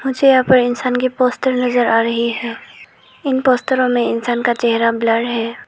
मुझे यहां पर इंसान की पोस्टर नजर आ रही है इन पोस्टरो में इंसान का चेहरा ब्लर है।